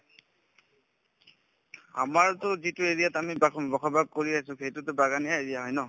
আমাৰতো যিটো area ত আমি থাকো বসবাস কৰি আছো সেইটোতো বাগানীয়া area হয় ন